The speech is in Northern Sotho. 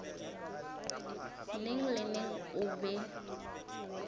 neng le neng o be